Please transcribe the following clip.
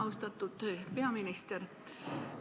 Austatud peaminister!